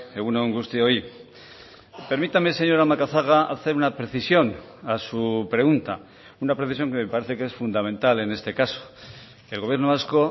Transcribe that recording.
egun on guztioi permítame señora macazaga hacer una precisión a su pregunta una precisión que me parece que es fundamental en este caso el gobierno vasco